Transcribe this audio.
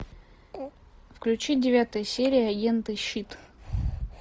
включи девятая серия агенты щит